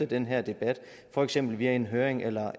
den her debat for eksempel via en høring eller